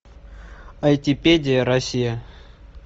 айтипедия россия